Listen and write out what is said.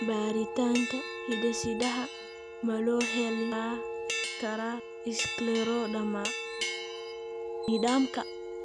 Baaritaanka hidde-sidaha ma loo heli karaa scleroderma nidaamka?